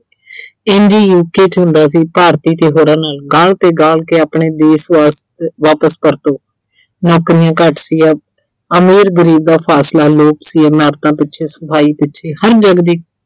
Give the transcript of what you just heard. ਇੰਝ ਹੀ UK 'ਚ ਹੁੰਦਾ ਸੀ, ਭਾਰਤੀ ਤੇ ਹੋਰਾਂ ਨਾਲ ਗਾਲ ਤੇ ਗਾਲ ਕਿ ਆਪਣੇ ਦੇਸ਼ ਵਾ ਅਹ ਵਾਪਿਸ ਪਰਤੋ। ਨੌਕਰੀਆਂ ਘੱਟ ਸੀ। ਅਮੀਰ ਗਰੀਬ ਦਾ ਫਾਸਲਾ ਸੀ, ਇਮਾਰਤਾਂ ਪਿੱਛੇ, ਸਫਾਈ ਪਿੱਛੇ ਹਰ